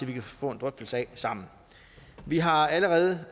vi kan få en drøftelse af sammen vi har allerede